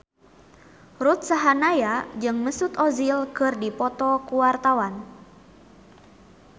Ruth Sahanaya jeung Mesut Ozil keur dipoto ku wartawan